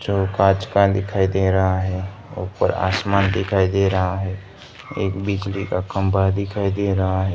जो कांच का दिखाई दे रहा है ऊपर आसमान दिखाई दे रहा है एक बिजली का खम्भा दिखाई दे रहा है।